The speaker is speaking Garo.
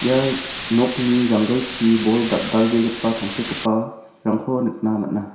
ia nokni janggilchi bol dal·dalbegipa tangsekgiparangko nikna man·a.